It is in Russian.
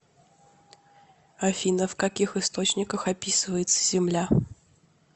афина в каких источниках описывается земля